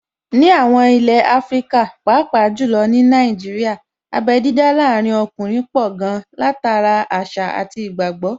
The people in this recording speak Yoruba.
Ní àwọn ilé ní Áfríkà, pàápàá jù lọ ní Nàìjíríà, abé dídá láàrin ọkùnrin pọ̀ gan-an, látara àṣà àti ìgbàgbọ́